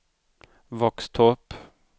Våxtorp